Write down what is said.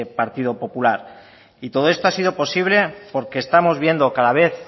partido popular y todo esto ha sido posible porque estamos viendo cada vez